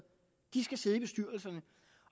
skal sidde i bestyrelserne